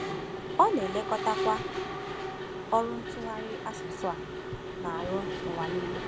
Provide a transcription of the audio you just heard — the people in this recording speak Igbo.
Ọ na-elekọtakwa ọrụ ntụgharị asụsụ a na-arụ n’ụwa nile.